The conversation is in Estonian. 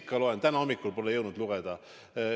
Ikka loen, kuid täna hommikul pole jõudnud lugeda.